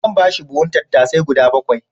Zan ba shi buhun tattasai guda bakwai.